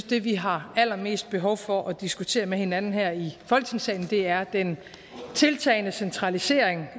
det vi har allermest behov for at diskutere med hinanden her i folketingssalen er den tiltagende centralisering